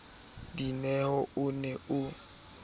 dineo na o ne o